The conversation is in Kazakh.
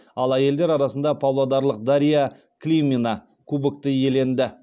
ал әйелдер арасында павлодарлық дарья климина кубогты иеленді